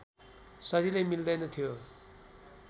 सजिलै मिल्दैनथ्यो